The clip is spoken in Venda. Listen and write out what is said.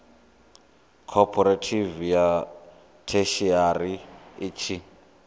khophorethivi ya theshiari i tshi